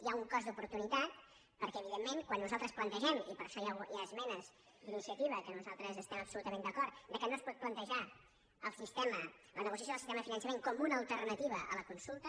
hi ha un cost d’oportunitat perquè evidentment quan nosaltres plantegem i per això hi ha esmenes d’iniciativa amb què nosaltres estem absolutament d’acord que no es pot plantejar la negociació del sistema de finançament com una alternativa a la consulta